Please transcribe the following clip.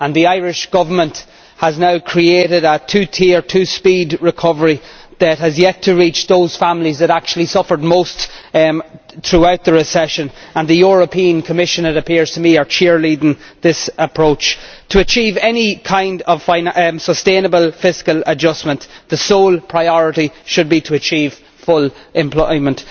The Irish Government has now created a two tier and two speed recovery that has yet to reach those families which actually suffered most throughout the recession, and the European Commission, it appears to me, is cheerleading this approach to achieve any kind of sustainable fiscal adjustment, when the sole priority should be to achieve full employment.